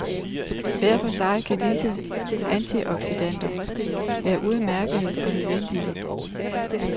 Hver for sig kan disse antioxidanter være udmærkede og nødvendige.